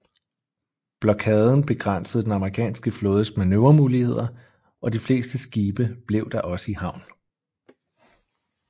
Blokaden begrænsede den amerikanske flådes manøvremuligheder og de fleste skibe blev da også i havn